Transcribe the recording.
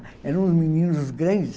Eram uns meninos grandes